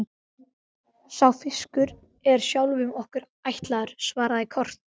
Sá fiskur er sjálfum okkur ætlaður, svaraði Kort.